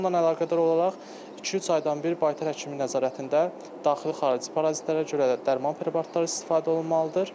Ondan əlaqədar olaraq iki-üç aydan bir baytar həkimi nəzarətində daxili-xarici parazitlərə görə dərman preparatları istifadə olunmalıdır.